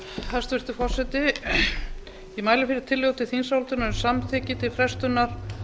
hæstvirtur forseti ég mæli fyrir tillögu til þingsályktunar um samþykki til frestunar